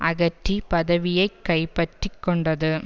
அகற்றி பதவியை கைப்பற்றி கொண்டது